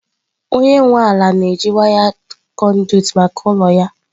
Onye nwe ala na-eji wired conduit maka ụlọ ya.